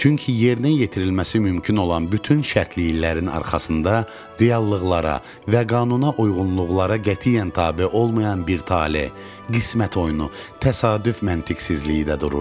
Çünki yerinə yetirilməsi mümkün olan bütün şərtiliklərin arxasında reallıqlara və qanuna uyğunluqlara qətiyyən tabe olmayan bir tale, qismət oyunu, təsadüf məntiqsizliyi də dururdu.